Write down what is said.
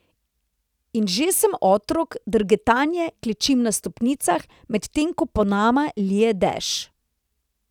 In že sem otrok, drgetaje klečim na stopnicah, medtem ko po nama lije dež.